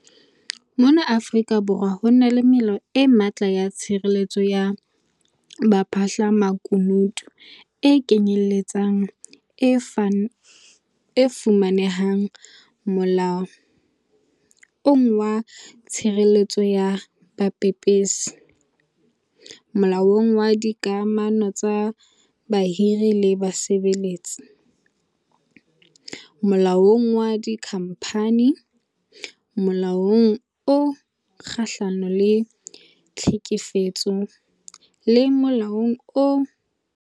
Mona Afrika Borwa ho na le melao e matla ya tshireletso ya baphahlamakunutu, e kenyeletsang e fumanehang Molaong wa Tshireletso ya Bapepesi, Molaong wa Dika mano tsa Bahiri le Basebetsi, Molaong wa Dikhamphani, Molaong o Kgahlano le Tlhekefetso, le Molaong wa Motheo ka bowona.